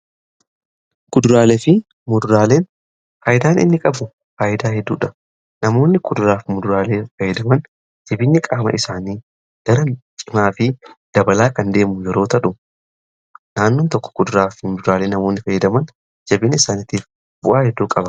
guduraalee fi mudraaleen haayidaan inni qabu haayidaa hedduudha namoonni kuduraaf muduraalee fayyidaman jabiinyi qaama isaanii daran cimaa fi dabalaa kan deemu yerootadhu naannoon tokko guduraafi muduraalee namoonni fayyidaman jabiini isaanitiif bu'aa hedduu qa